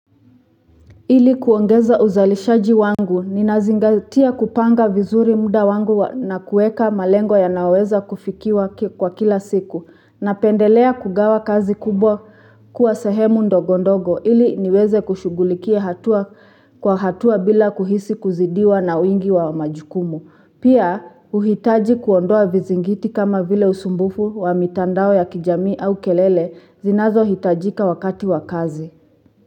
Ili kuongeza uzalishaji wangu, ninazingatia kupanga vizuri muda wangu na kuweka malengo yanaoweza kufikiwa kwa kila siku, na pendelea kugawa kazi kubwa kuwa sehemu ndogondogo, ili niweze kushugulikia hatua kwa hatua bila kuhisi kuzidiwa na wingi wa majukumu. Pia, huhitaji kuondoa vizingiti kama vile usumbufu wa mitandao ya kijamii au kelele, zinazo hitajika wakati wa kazi.